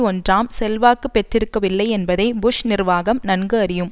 ஒன்றாம் செல்வாக்கு பெற்றிருக்கவில்லை என்பதை புஷ் நிர்வாகம் நன்கு அறியும்